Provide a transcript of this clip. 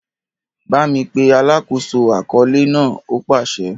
Bámi pe “ alákòóso àkọọ́lẹ̀ ” náà! ó pàsẹ.